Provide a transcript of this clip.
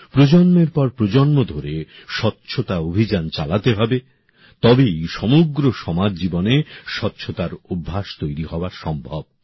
প্রজন্মের পর প্রজন্ম ধরে স্বচ্ছতা অভিযান চালাতে হবে তবেই সমগ্র সমাজ জীবনে স্বচ্ছতার অভ্যাস তৈরি হওয়া সম্ভব